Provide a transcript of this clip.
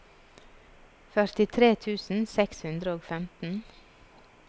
førtitre tusen seks hundre og femten